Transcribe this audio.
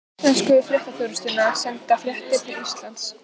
Svissnesku fréttaþjónustuna, senda fréttir til Íslands.